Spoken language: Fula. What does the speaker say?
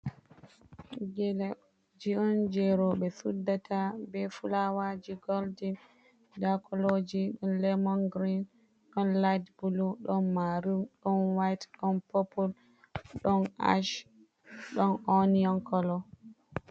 Geleji on je rowɓe suddata be fulawaji goldin. Nda koloji, ɗon lemon girin, ɗon lait bulu, ɗon maruum, ɗon wait, ɗon popul, ɗon ash, ɗon onion kolo.